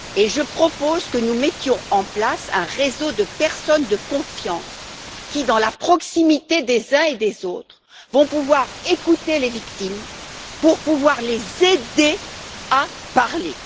Je propose que nous mettions en place un réseau de personnes de confiance qui, dans la proximité des uns et des autres, vont écouter les victimes pour pouvoir les aider à parler.